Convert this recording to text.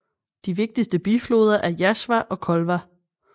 De vigtigste bifloder er Jazva og Kolva